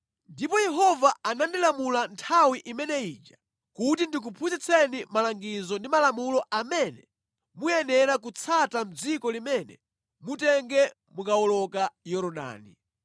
Ndipo Yehova anandilamula nthawi imene ija kuti ndikuphunzitseni malangizo ndi malamulo amene muyenera kutsata mʼdziko limene mutenge mukawoloka Yorodani.